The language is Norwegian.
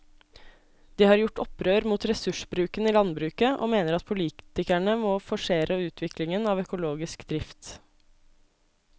De har gjort opprør mot ressursbruken i landbruket og mener at politikerne må forsere utviklingen av økologisk drift.